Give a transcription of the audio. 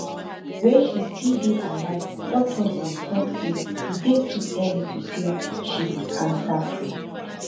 wey she still dey alive doctors bin tok say e dey too early to say she be cancerfree